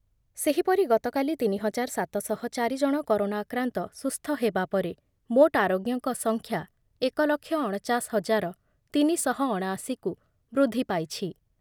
ସେହିପରି ଗତକାଲି ତିନି ହଜାର ସାତ ଶହ ଚାରି ଜଣ କରୋନା ଆକ୍ରାନ୍ତ ସୁସ୍ଥ ହେବା ପରେ ମୋଟ ଆରୋଗ୍ୟଙ୍କ ସଂଖ୍ୟା ଏକ ଲକ୍ଷ ଅଣଚାଷ ହଜାର ତିନିଶହ ଅଣାଅଶି କୁ ବୃଦ୍ଧି ପାଇଛି ।